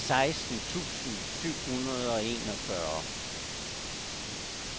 seksten tusind syv hundrede og enogfyrre